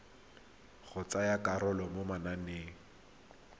go tsaya karolo mo mananeng